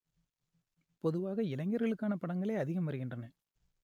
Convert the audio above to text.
பொதுவாக இளைஞர்களுக்கான படங்களே அதிகம் வருகின்றன